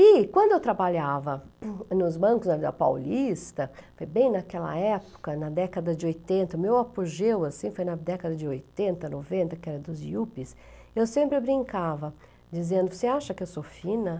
E quando eu trabalhava nos bancos da Paulista, foi bem naquela época, na década de oitenta, meu apogeu foi na década de oitenta, noventa, que era dos Iups, eu sempre brincava, dizendo, você acha que eu sou fina?